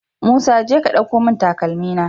Musa jeka ka ɗauko mun takalmi na